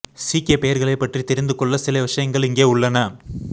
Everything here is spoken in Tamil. சீக்கிய பெயர்களைப் பற்றி தெரிந்து கொள்ள சில விஷயங்கள் இங்கே உள்ளன